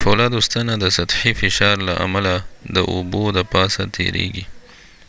د فولادو ستنه د سطحي فشار له امله د اوبو د پاسه تيريږي